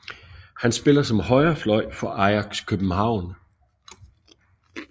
Han spiller som højre fløj for Ajax København